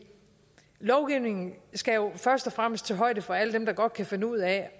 lovgivningen først og fremmest skal tage højde for alle dem der godt kan finde ud af